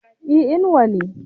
e Inuwa ne